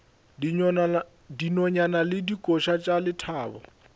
dinonyane le dikoša tša lethabo